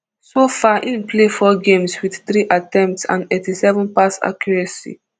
so far im play four games wit three attempts and eighty-seven pass accuracy